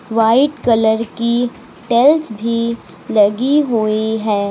White colour की tiles भी लगी हुई है।